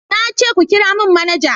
Na ce ku kira mun manaja!